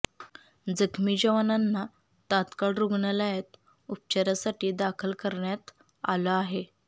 जखमी जवानांना तात्काळ रुग्णालयात उपचारासाठी दाखल करण्यात आलं आहे